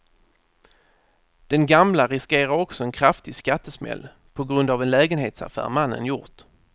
Den gamla riskerar också en kraftig skattesmäll på grund av en lägenhetsaffär mannen gjort.